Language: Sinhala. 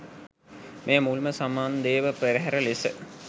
මෙය මුල්ම සමන්දේව පෙරහර ලෙස